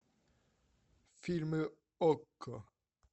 фильмы окко